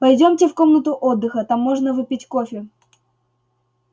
пойдёмте в комнату отдыха там можно выпить кофе